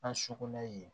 An sukunɛ yen